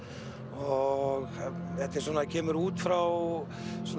og þetta kemur út frá